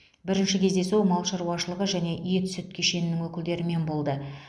бірінші кездесу мал шаруашылығы және ет сүт кешенінің өкілдерімен болды